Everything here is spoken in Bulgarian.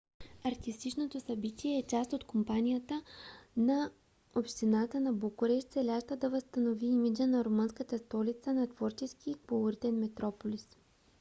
артистичното събитие е и част от кампанията на общината на букурещ целяща да възстанови имиджа на румънската столица на творчески и колоритен метрополис